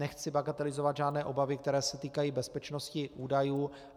Nechci bagatelizovat žádné obavy, které se týkají bezpečnosti údajů.